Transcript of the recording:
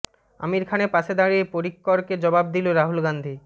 আমির খানের পাশে দাঁড়িয়ে পরিক্করকে জবাব দিল রাহুল গান্ধী